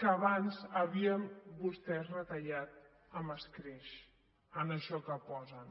que abans havien vostès retallat amb escreix en això que posen